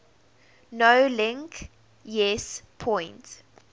nolink yes point